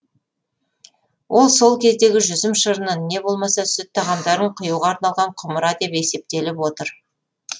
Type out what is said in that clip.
ол сол кездегі жүзім шырынын не болмаса сүт тағамдарын құюға арналған құмыра деп есептеліп отыр